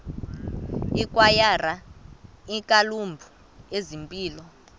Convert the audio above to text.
ikwayara iiklabhu zempilo